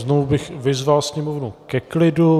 Znovu bych vyzval sněmovnu ke klidu.